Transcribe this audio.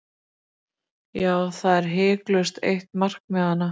Já, það er hiklaust eitt markmiðanna.